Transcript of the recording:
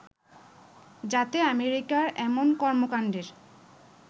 যাতে আমেরিকার এমন কর্মকাণ্ডের